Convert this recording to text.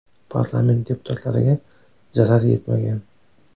Parlament deputatlariga zarar yetmagan.